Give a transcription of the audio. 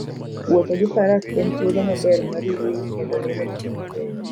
Wuotho gi faras en thuolo maber mar yueyo kendo neno gik mabeyo.